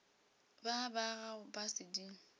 ba ba gago ba sedimo